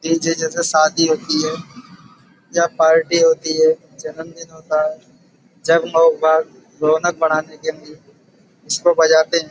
DJ. जैसे शादी होती है या पार्टी होती है जन्मदिन होता है। जब लोग रौनक बढ़ाने के लिए इसको बजाते हैं।